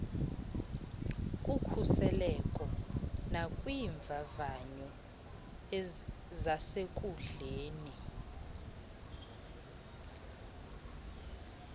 kukhuseleko nakwiimvavanyo zasenkundleni